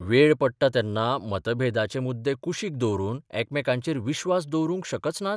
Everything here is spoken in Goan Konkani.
वेळ पडटा तेन्ना मतभेदाचे मुद्दे कुशीक दवरून एकामेकांचेर विस्वास दवरूंक शकच नात?